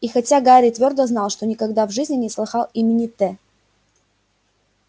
и хотя гарри твёрдо знал что никогда в жизни не слыхал имени т